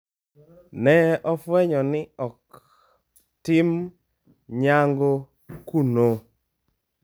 Ne ofwenyo ni ok tim nyangu kuno.